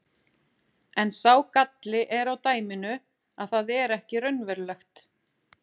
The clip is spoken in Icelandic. En sá galli er á dæminu að það er ekki raunverulegt.